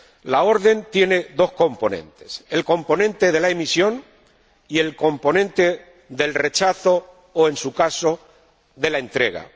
La orden tiene dos componentes, el componente de la emisión y el componente del rechazo o, en su caso, de la entrega.